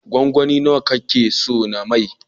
Gwangwani nawa ka ke so na mai?